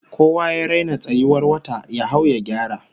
Kowa ya raina tsayuwar wata, ya hau ya gyara!